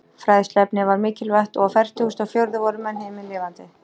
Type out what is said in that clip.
Fræðsluefnið var mikilvægt, og á fertugustu og fjórðu voru menn himinlifandi.